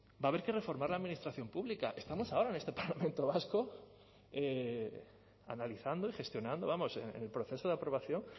va a haber que reformar la administración pública estamos ahora en este parlamento vasco analizando y gestionando vamos en el proceso de aprobación